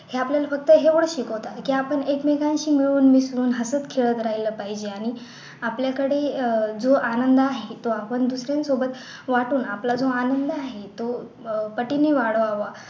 ह्या आपल्याला फक्त जेव्हा शिकवतात की आपण एकमेकांशी मिळून मिसळून हसत खेळत राहिलं पाहिजे आणि आपल्याकडे अह जो आनंद आहे तो आपण दुसर्यांसोबत वाटून आपला जो आनंद आहे तो अह पटीने वाढवावा